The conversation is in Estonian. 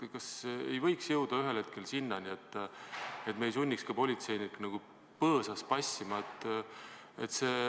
Kas ei võiks jõuda ühel hetkel sinnani, et me ei sunniks politseinikke põõsas passima?